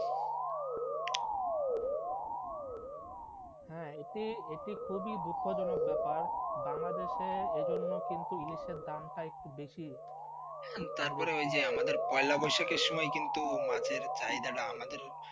হ্যাঁ হ্যাঁ এটি খুবই দুঃখজনক ব্যাপার বাংলাদেশে এজন্য কিন্তু ইলিশের দামচা একটু বেশি, তারপরে ওই যে আমাদের পয়লা বৈশাখে কিন্তু মাছের চাহিদাটা আমাদের.